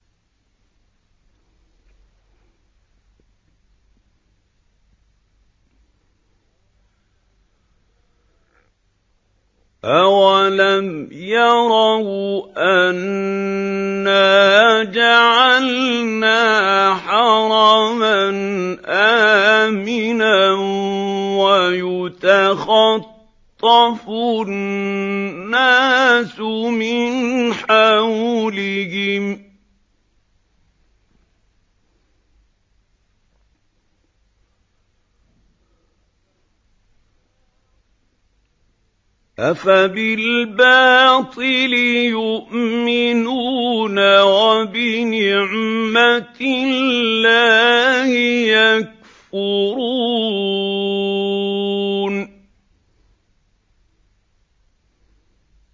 أَوَلَمْ يَرَوْا أَنَّا جَعَلْنَا حَرَمًا آمِنًا وَيُتَخَطَّفُ النَّاسُ مِنْ حَوْلِهِمْ ۚ أَفَبِالْبَاطِلِ يُؤْمِنُونَ وَبِنِعْمَةِ اللَّهِ يَكْفُرُونَ